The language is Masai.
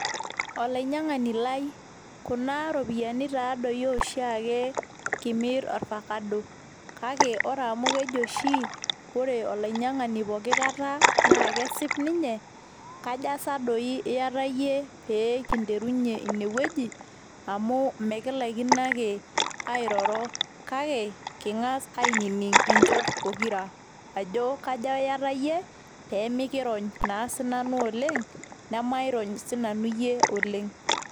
Olainyang'ani lai, kuna ropiyaiani tadoi oshi ake kimir orfakado. Kake ore amu keji oshi, ore olainyang'ani pooki kata naa kesip ninye, kaja sa doi iata yie pe kinterunye inewueji amu mikilaikino ake airoro? Kake, king'as ainining' inchot pokira, ajo kaja iata yie pe mikiirony na sinanu oleng',nemairony sinanu yie oleng'.